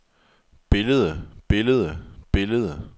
billede billede billede